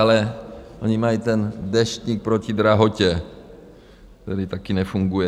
Ale oni mají ten Deštník proti drahotě, který taky nefunguje.